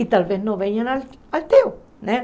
E talvez não venha no ao teu, né?